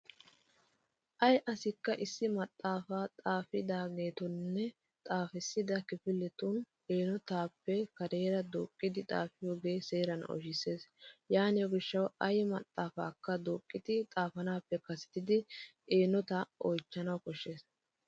Ay asikka issi maxaafaa xaafidaageetunne xaafissida kifiletu eenotaappe kareera duuqqidi xaafiyogee seeran oyshissees. Yaaniyo gishshawu ay maxaafaakka duuqqidi xaafanaappe kasettidi eenotaa oychchanawu bessees.